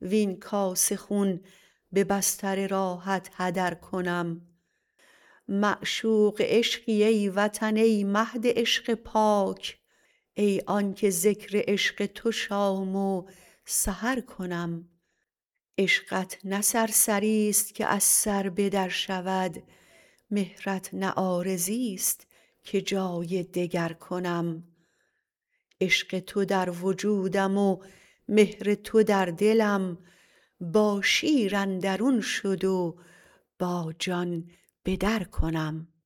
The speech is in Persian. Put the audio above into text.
وین کاسه خون به بستر راحت هدر کنم معشوق عشقی ای وطن ای مهد عشق پاک ای آن که ذکر عشق تو شام و سحر کنم عشقت نه سرسری است که از سر به در شود مهرت نه عارضیست که جای دگر کنم عشق تو در وجودم و مهر تو در دلم با شیر اندرون شد و با جان به در کنم